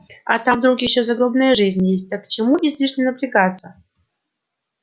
а там вдруг ещё загробная жизнь есть так к чему излишне напрягаться